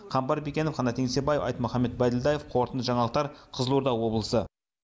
қамбар бекенов қанат еңсебаев айтмұхамбет байділдаев қорытынды жаңалықтар қызылорда облысы